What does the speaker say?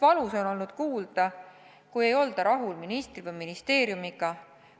Valus on olnud kuulda, kui ei olda rahul ministri või ministeeriumiga.